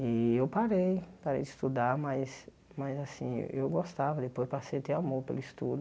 Eh eu parei, parei de estudar, mas mas assim, eu gostava, depois passei a ter amor pelo estudo.